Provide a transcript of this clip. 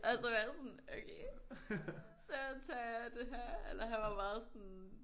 Og så var jeg sådan okay så tager jeg det her eller han var meget sådan